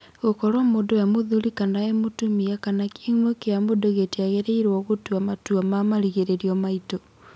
Gũkorwo mũndũ e-mũthuri kana e-mũtumia kana kĩhumo kĩamũndũ gĩtiagĩrĩirwo gũtua matua ma marigĩrĩrio maitũ.